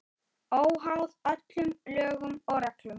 Óháð öllum lögum og reglum.